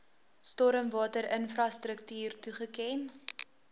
stormwater infrastruktuur toegeken